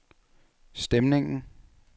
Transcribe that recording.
stemningen